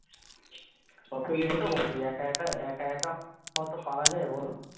সেটা তো বটেই একা একা একা একা অতো পারা যাই বলো